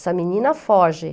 Essa menina foge.